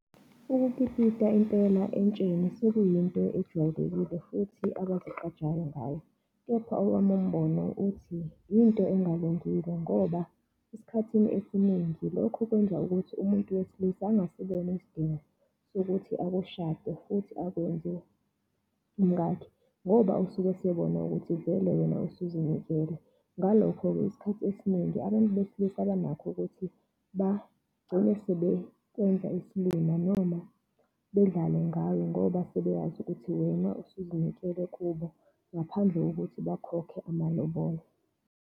Ukukipita impela entsheni sekuyinto ejwayelekile futhi abazigqajayo ngayo. Kepha owami umbono uthi, yinto engalungile, ngoba esikhathini esiningi lokhu kwenza ukuthi umuntu wesilisa angasiboni isidingo sokuthi akushade futhi akwenze umkakhe, ngoba usuke esebona ukuthi vele wena usuzinikele. Ngalokho-ke isikhathi esiningi abantu besilisa banakho ukuthi bagcine sebekwenza isilima noma bedlale ngawe ngoba sebeyazi ukuthi wena usuzinike kubo, ngaphandle kokuthi bakhokhe amalobolo.